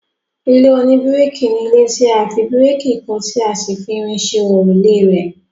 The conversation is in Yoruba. ilé oníbíríkì ni ilé tí a fi bíríkì kọ́ tí a sì fi irin ṣe òrùlé rẹ̀